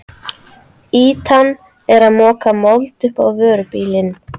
Ýtan er að moka mold upp á vörubíl.